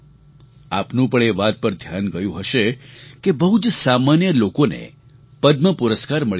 આપનું પણ એ વાત પર ધ્યાન ગયું હશે કે બહુ જ સામાન્ય લોકોને પદ્મ પુરસ્કાર મળી રહ્યા છે